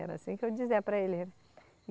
Era assim que eu dizia para eles.